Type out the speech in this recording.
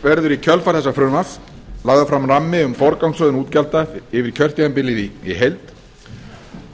verður í kjölfar þessa frumvarps lagður fram rammi um forgangsröðun útgjalda yfir kjörtímabilið í heild